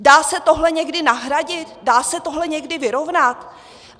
Dá se tohle někdy nahradit, dá se tohle někdy vyrovnat?